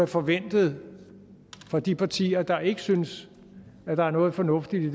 forventet fra de partier der ikke synes at der er noget fornuftigt i